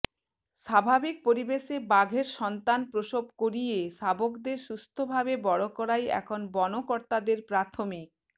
স্বাভাবিক পরিবেশে বাঘের সন্তান প্রসব করিয়ে শাবকদের সুস্থ ভাবে বড় করাই এখন বন কর্তাদের প্রাথমিক